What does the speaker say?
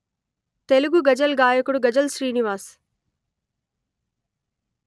తెలుగు గజల్ గాయకుడు గజల్ శ్రీనివాస్